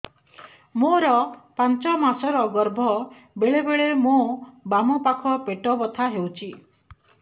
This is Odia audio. ମୋର ପାଞ୍ଚ ମାସ ର ଗର୍ଭ ବେଳେ ବେଳେ ମୋ ବାମ ପାଖ ପେଟ ବଥା ହଉଛି